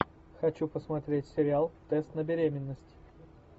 хочу посмотреть сериал тест на беременность